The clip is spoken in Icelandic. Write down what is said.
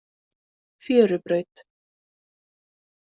Fjörubraut